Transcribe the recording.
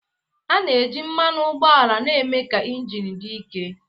A na-eji mmanụ ụgbọala na-eme ka injin dị ike